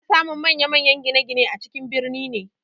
Ana samun manyan-manyan gine-gine a cikin birni ne.